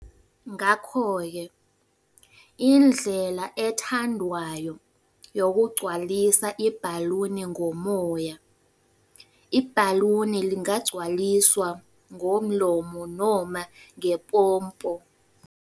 Ngakho-ke, indlela ethandwayo yokugcwalisa ibhaluni ngomoya, ibhaluni lingagcwaliswa ngomlomo noma ngepompo.